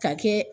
Ka kɛ